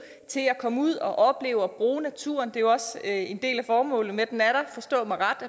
til at komme ud og opleve og bruge naturen det er jo også en del af formålet med at den er der forstå mig ret